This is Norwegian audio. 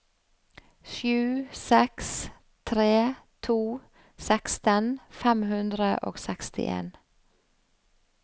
sju seks tre to seksten fem hundre og sekstien